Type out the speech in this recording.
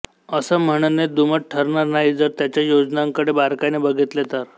अस म्हणणे दुमत ठरणार नाही जर त्याच्या योजनांकडे बारकाईने बघितले तर